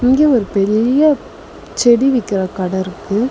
இங்க ஒரு பெரிய செடி விக்கிற கட இருக்கு.